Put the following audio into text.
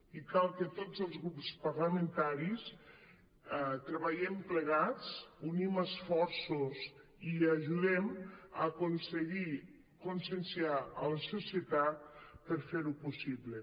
i cal que tots els grups parlamentaris treballem plegats unim esforços i ajudem a aconseguir conscienciar la societat per fer ho possible